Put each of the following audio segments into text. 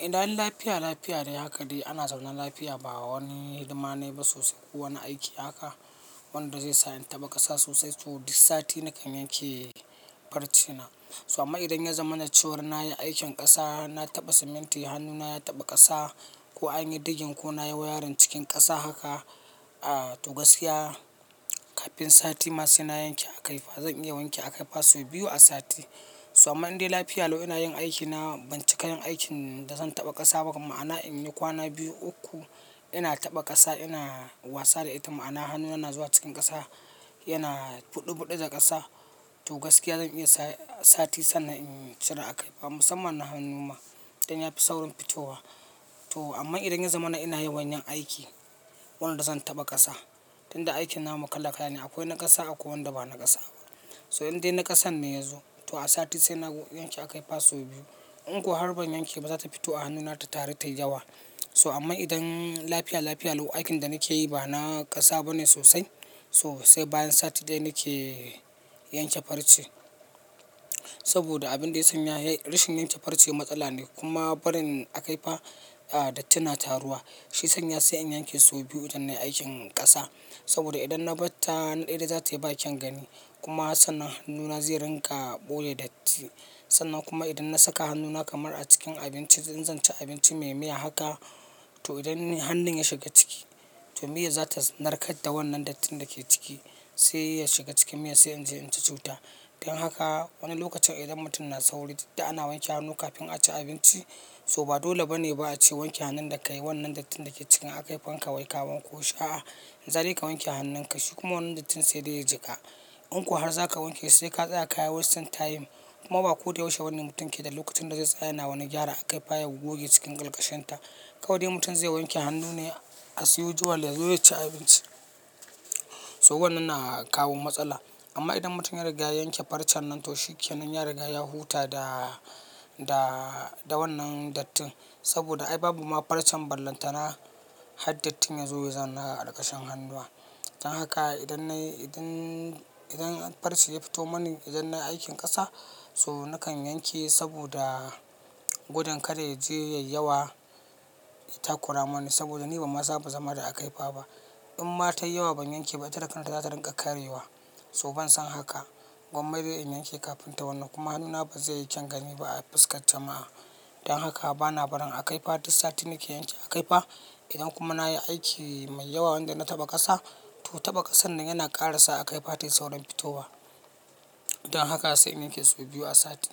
Idan lafiya lafiya dai haka dai ana zaune lafiya ba wani hidima nayi ba sosai. Kowane aiki haka wanda zai sa in taɓa ƙasa sosai so duk sati nakan yanke farcena. So amma idan ya zama na cewar nayi aikin ƙasa, na taɓa siminti, hannuna ya taɓa ƙasa ko an yi diggin ko na yi wayarin cikin ƙasa haka, ah to gaskiya kafin sati masu ina yanke a kaifa zan iya wanke a kaifa sau biyu a sati. So amma in dai lafiya allo ina yin aiki na ban cika yin aikin da zan taɓa ƙasa ba ma'ana in yi kwana biyu uku ina taɓa ƙasa ina wasa da ita ma'ana hannuna na zuwa cikin ƙasa yana buɗe buɗe da ƙasa to gaskiya zan iya sa sati sannan in cire a kaifa musamman na hannun ma dan ya fi saurin fitowa. To amma idan ya zama na ina yin wanyan aiki wanda zan taɓa ƙasa, tun da aikin namu kala kala ne akwai na ƙasa akwai wanda ba na ƙasa ba. So in dai na ƙasan ne yazo to a sati sai na yanke a kaifa sau biyu. In kuwa har ban yanke ba za ta fito a hannuna ta tare da yawa. So amma idan lafiya lafiya lo aikin da nake yi ba na ƙasa ba ne sosai, so sai bayan sati daya nake yanke farce. Saboda abin da ya sanya rashin yanke farce matsala ne kuma barin a kaifa a dattin na taruwa. Shi sanya sai in yanke sau biyu idan na yi aikin ƙasa. Saboda idan na ɓatta hanu daya dai za ta yi ba kyan gani kuma sannan hannuna zai ringa ɓoye datti. Sannan kuma idan na saka hannuna kamar a cikin abinci idan zan ci abinci mai miya haka to idan ne hannun ya shiga ciki to miyar za ta narkar da wannan dattin da ke ciki sai ya shiga cikin miya sai in je in ci cuta. Dan haka wani lokacin idan mutum na sauri duk da ana wanke hannu kafin a ci abinci so ba dole ba ne ba a ce wanke hannun da ka yi wannan dattin da ke cikin akaifanka wai ka wanko shi a'a in za dai ka wanke hannun ka shi kuma wannan dattin sai dai ya jiƙa. In kuwa har za ka wanke shi sai ka tsaya kayi wastin tayim kuma ba ko dai yaushe wannan mutum ke da lokacin da zai tsaya yana wani gyara akaifaya goge cikin kalkashinta. Kawai dai mutum zai wanke hannu ne as yujuwal ya zo ya ci abinci. So wannan na kawo matsala. Amma idan mutum ya riga ya yanke farcen nan to shi kenan ya riga ya huta da, da wannan dattin saboda ai babu ma farcen ballantana har dattin ya zo ya zama a kalkashen hannuwa. Dan haka idan nayi, idan, idan farce ya fito mani idan nayi aikin ƙasa so nakan yanke saboda gudun kada ya je yayi yawa ya takura mani saboda ni ban masa ba zama da akaifa ba. In ma tayi yawa ban yanke ba ita da kan ta za ta ringa karyewa. To ban son haka. Gwamma dai in yanke kafin ta yi wannan kuma hannuna ba zai yi kyan gani ba a fuskar jama'a. Dan haka bana barin a kaifa duk sati nake yanke a kaifa. Idan kuma nayi aiki mai yawa wanda na taɓa ƙasa to taɓa ƙasan nan yana ƙara sa a kaifa tayi saurin fitowa. Dan haka sai in yanke sau biyu a sati.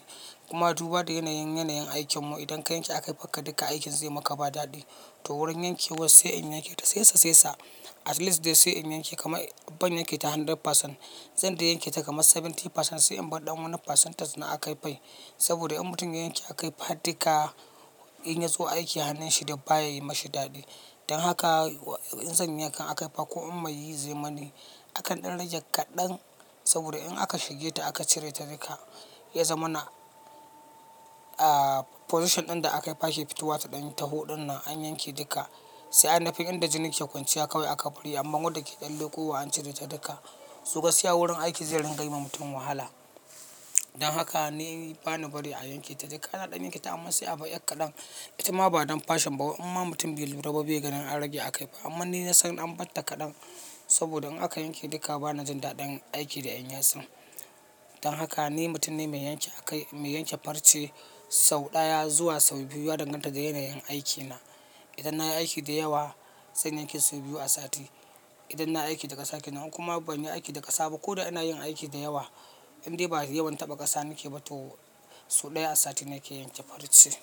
Kuma duba da yanayin, yanayin aikin mu idan ka yanke akaifanka duka aikin zai maka ba daɗi. To wurin yanke was sai in yanke ta sai sa sai sa at least dai sai in yanke kamar ban yanke ta 100%. Zan dai yanke ta kamar 70% sai in bar ɗan wani percentage na akaifai. Saboda in mutum ya yanke akaifa duka in ya zo aiki hannun shi dai ba ya yi mashi daɗi. Dan haka in zan yi yankan akaifa ko in mai yi zai mani akan ɗan rage kaɗan saboda in aka shige ta aka cire ta duka ya zama na a position ɗin da akaifa ke fitowa ta ɗan taho ɗinnan an yanke duka sai anafi inda jini ke kwanciya kawai aka ɓari amma wanda ke ɗan leƙuwa an cire ta duka so gaskiya wurin aiki zai ringa yi ma mutum wahala. Dan haka ni bani bari a yanke ta duka. Ana ɗan yanke ta amma sai a bai ƴan kaɗan. Ita ma ba don fashion ba. Wa inma mutun bai lura ba bai ganin an rage akaifa. Amma ni na san an ɓatta kaɗan saboda in aka yanke duka bana jin daɗin aiki da in yasun. Dan haka ni mutum ne mai yanke akai, mai yanke farce sau ɗaya zuwa sau biyu ya danganta da yanayin aikina. Idan nayi aiki da yawa zan yanke sau biyu a sati. Idan na aiki da ƙasa kenan in kuma ban yi aiki da ƙasa ba ko dai ina yin aiki da yawa in dai ba yawan taɓa ƙasa nake ba to sau ɗaya a sati nake yanke farce.